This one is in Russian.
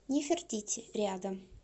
нефертити рядом